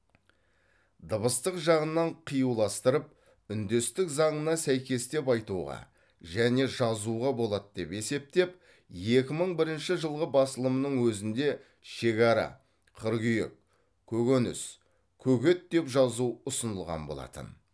дыбыстық жағынан қиюластырып үндестік заңына сәйкестеп айтуға және жазуға болады деп есептеп екі мың бірінші жылғы басылымның өзінде шегара қыргүйек көкөніс көгет деп жазу ұсынылған болатын